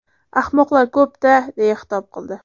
Ahmoqlar ko‘p-da”, deya xitob qildi.